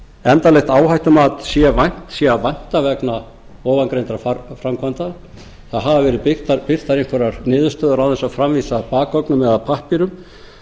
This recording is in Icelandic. endanlegs áhættumats sé að vænta vegna ofangreindra framkvæmda það hafa verið birtar einhverjar niðurstöður án þess að framvísa bakgögnum eða pappírum